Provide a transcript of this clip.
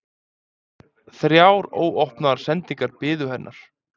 Þrjár óopnaðar sendingar biðu hennar.